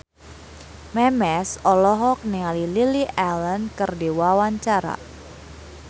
Memes olohok ningali Lily Allen keur diwawancara